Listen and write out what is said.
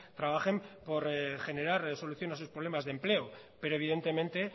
trabajen por generar solución a sus problemas de empleo pero evidentemente